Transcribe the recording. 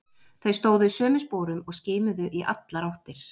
Þau stóðu í sömu sporum og skimuðu í allar áttir.